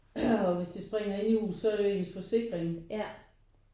Og hvis det sprænger inde i huset så er det jo ens forsikring